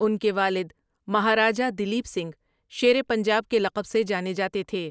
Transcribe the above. ان کے والد مہاراجا دلیپ سنگھ شیر پنجاب کے لقب سے جانے جاتے تھے ۔